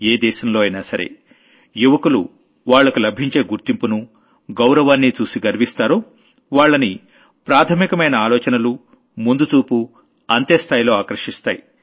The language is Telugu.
ఏ దేశంలో అయినా సరే యువకులు వాళ్లకు లభించే గుర్తింపును గౌరవాన్నీ చూసి గర్విస్తారో వాళ్లని ప్రాథమికమైన ఆలోచనలు ముందుచూపు అంతే స్థాయిలో ఆకర్షిస్తాయి